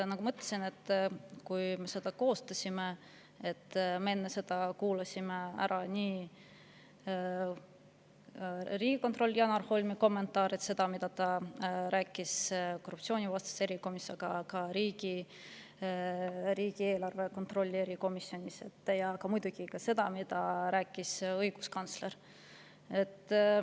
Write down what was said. Nagu ma ütlesin, enne selle koostamist me kuulasime ära riigikontrolör Janar Holmi kommentaarid, selle, mida ta rääkis nii korruptsioonivastases erikomisjonis kui ka riigieelarve kontrolli erikomisjonis, ja muidugi ka selle, mida rääkis õiguskantsler.